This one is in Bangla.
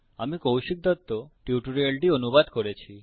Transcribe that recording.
আমি কৌশিক দত্ত টিউটোরিয়ালটি অনুবাদ করেছি